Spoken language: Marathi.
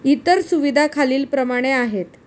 इतर सुविधा खालील प्रमाणे आहेत.